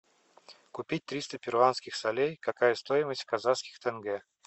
купить триста перуанских солей какая стоимость в казахских тенге